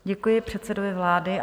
Děkuji předsedovi vlády.